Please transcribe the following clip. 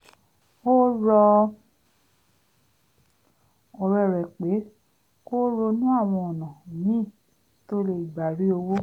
ó rọ ọ̀rẹ́ rẹ̀ pé kó ronú àwọn ọ̀nà míì tó lè gbà rí owó